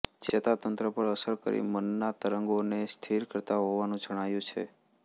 ચેતા તંત્ર પર અસર કરી મનના તરંગઓને સ્થિર કરતા હોવાનું જણાયું છે